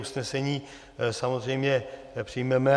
Usnesení samozřejmě přijmeme.